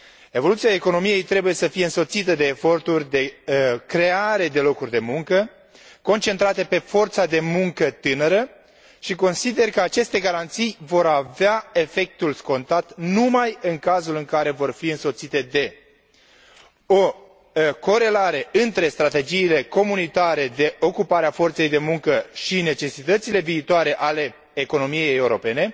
Evoluția economiei trebuie să fie însoțită de eforturi de creare de locuri de muncă, concentrate pe forța de muncă tânără și consider că aceste garanții vor avea efectul scontat numai în cazul în care vor fi însoțite de o corelare între strategiile comunitare de ocupare a forței de muncă și necesitățile viitoare ale economiei europene,